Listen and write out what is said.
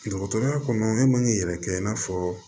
Dɔgɔtɔrɔya kɔnɔ e man k'i yɛrɛ kɛ i n'a fɔ